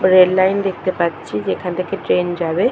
Rail line দেখতে পাচ্ছি যেখান থেকে ট্রেন যাবে।